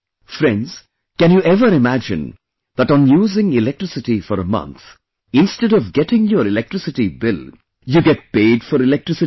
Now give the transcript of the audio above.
Friends, can you ever imagine that on using electricity for a month, instead of getting your electricity bill, you get paid for electricity